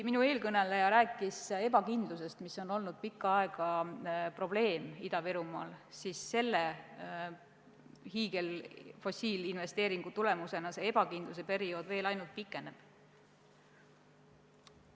Minu eelkõneleja rääkis ebakindlusest, mis on Ida-Virumaal olnud pikka aega probleem, kuid selle hiigelinvesteeringu tulemusena see ebakindluse periood ainult pikeneb.